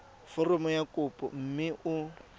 foromo ya kopo mme o